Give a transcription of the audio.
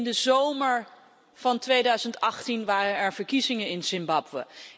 In de zomer van 2018 waren er verkiezingen in Zimbabwe.